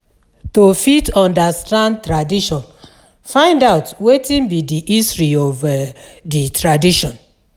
To fit understand tradition find out wetin be di history of di um tradition